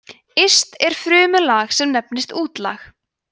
yst er frumulag sem nefnist útlag